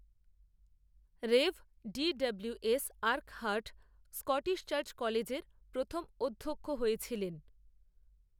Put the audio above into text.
রেভ, D W, S, Urquhart, Scottish Church কলেজএর প্রথম, অধ্যক্ষ হয়েছিলেন